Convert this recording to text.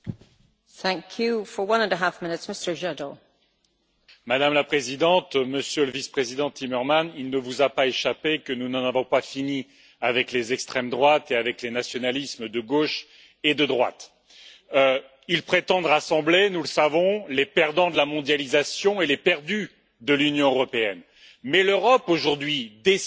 Madame la Présidente, Monsieur le Vice président Timmermans, il ne vous a pas échappé que nous n'en avons pas fini avec les extrêmes droites et les nationalismes de gauche et de droite. Ils prétendent rassembler nous le savons les perdants de la mondialisation et les perdus de l'Union européenne, mais l'Europe d'aujourd'hui déçoit aussi les plus convaincus. Comment leur en vouloir?